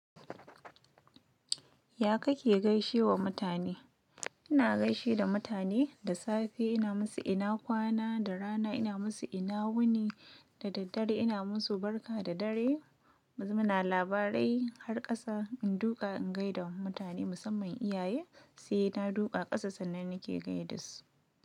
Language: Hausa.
Ya kake gaishe wa mutane? Ina gaishe da mutane da safe ina musu ina kwana, da rana ina musu ina wuni, da daddare ina musu barka da dare. Muna labarai har kasa in duƙa in gaida mutane musamman iyaye sai na duƙa ƙasa sannan nake gaida su.